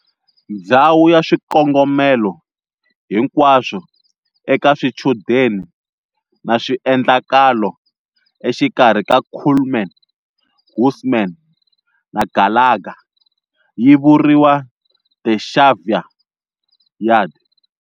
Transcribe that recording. Ndzhawu ya swikongomelo hinkwaswo eka swichudeni na swiendlakalo exikarhi ka Kuhlman, Husman na Gallagher yivuriwa"The Xavier Yard."